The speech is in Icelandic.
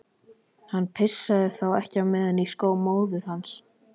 Hann pissaði þá ekki á meðan í skó móður hans.